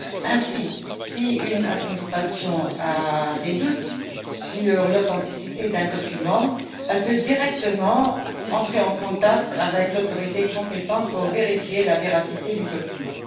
Ainsi, si une administration a des doutes sur l'authenticité d'un document, elle peut entrer directement en contact avec l'autorité compétente pour vérifier la véracité du document.